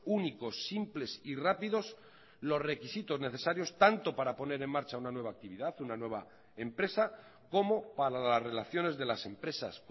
únicos simples y rápidos los requisitos necesarios tanto para poner en marcha una nueva actividad una nueva empresa como para las relaciones de las empresas